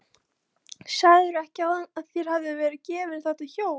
Sagðirðu ekki áðan að þér hefði verið gefið þetta hjól?